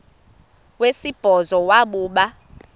wesibhozo wabhu bha